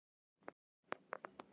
Hæglætisveður en él á Suðurlandi